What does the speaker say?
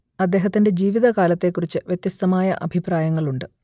അദ്ദേഹത്തിന്റെ ജീവിതകാലത്തെക്കുറിച്ച് വ്യത്യസ്തമായ അഭിപ്രായങ്ങളുണ്ട്